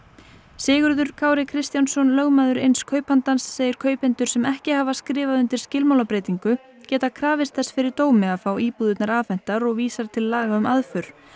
Sigurður Kári Kristjánsson lögmaður eins kaupandans segir kaupendur sem ekki hafa skrifað undir skilmálabreytingu geti krafist þess fyrir dómi að fá íbúðirnar afhentar og vísar til laga um aðför